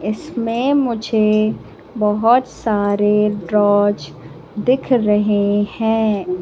इसमें मुझे बहोत सारे ड्रॉज़ दिख रहे हैं।